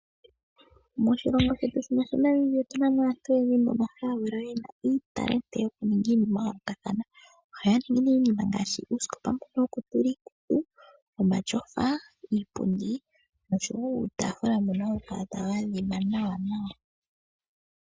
Moshilongo shetu otunamo aantu oyendji yena uunongo woku nduluka iinima ya yolokathana, ohaanduluka neeh oosikopa dhiikutu, omatyofa, iipundi nosho woo iitafula.